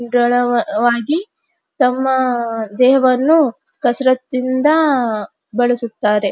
ಉಡಳವಾಗಿ ತಮ್ಮ ದೇಹವನ್ನು ಕಸ್ರತಿನಿಂದ ಬಳಸುತ್ತಾರೆ.